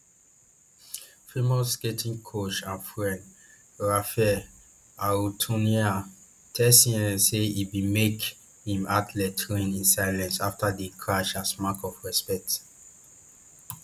famous skating coach and friend rafael arutyunyan tell cnn say e bin make im athletes train in silence afta di crash as mark of respect